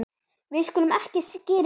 við skulum ekki skyrinu öllu